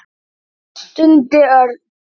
stundi Örn.